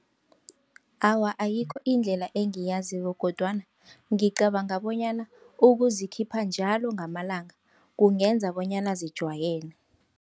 Awa, ayikho indlela engiyaziko kodwana ngicabanga bonyana ukuzikhipha njalo ngamalanga kungenza bonyana zijwayele.